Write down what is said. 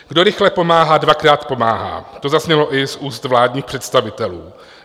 Kdo rychle pomáhá, dvakrát pomáhá, to zaznělo i z úst vládních představitelů.